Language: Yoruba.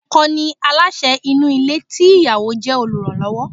Ọkọ̀ ni aláṣẹ inú ilé tí ìyàwó jẹ́ oluranlowo.